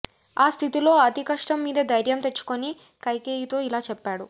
ఆ స్థితిలో అతి కష్టం మీద ధైర్యం తెచ్చుకుని కైకేయితో ఇలా చెప్పాడు